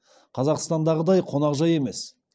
қазақстандағыдай қонақжай емес